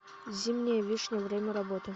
зимняя вишня время работы